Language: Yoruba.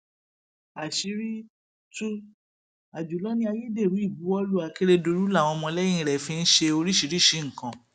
àṣírí tú àjùlọ ní ayédèrú ìbuwọlù akérèdọlù làwọn ọmọlẹyìn rẹ fi ń ṣe oríṣìíríṣìí nǹkan